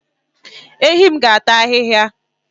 Ehi m ga-ata ahihia